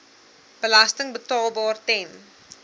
belasting betaalbaar ten